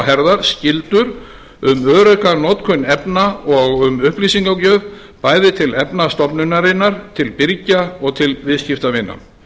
herðar skyldur um örugga notkun efna og um upplýsingagjöf bæði til efnastofnunarinnar til birgja og til viðskiptavina